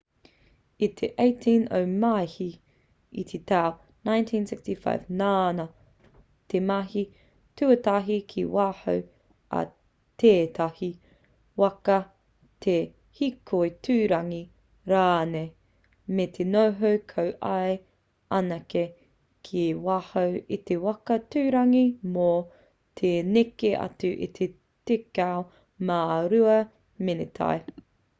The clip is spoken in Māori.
i te 18 o māehe i te tau 1965 nāna te mahi tuatahi ki waho o tētahi waka eva te hīkoi tuarangi rānei me te noho ko ia anake ki waho i te waka tuarangi mō te neke atu i te tekau mā rua meneti